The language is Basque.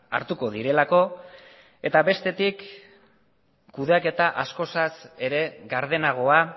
hartuko direlako eta bestetik kudeaketa askoz ere gardenagoa